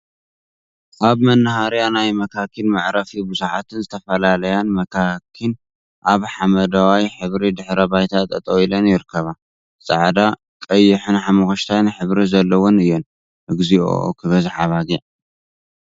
ኣብ መናሃርያ ናይ መካኪን መዕረፊ ብዙሓትን ዝተፈላለያን መካኪን ኣብ ሓመደዋይ ሕብሪ ድሕረ ባይታ ጠጠው ኢለን ይርከባ። ጻዕዳ፥ ቀይሕን ሓመኩሽታይን ሕብሪ ዘለወን እየን። እግዚኦ ክበዝሓ ኣባጊዕ እየ።